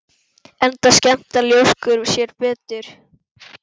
Enda skemmta ljóskur sér betur.